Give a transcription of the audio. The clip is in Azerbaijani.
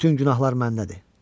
Bütün günahlar məndədir.